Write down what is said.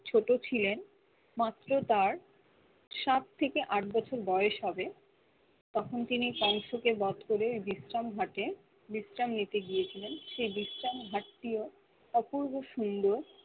ছোট ছিলেন মাত্র তার সাত থেকে আট বছর বয়স হবে তখন তিনি কংশকে বোধ করে বিশ্রাম ঘাটে বিশ্রাম নিতে গিয়েছিলেন সেই বিশ্রাম ঘাটটিও অপূর্ব সুন্দর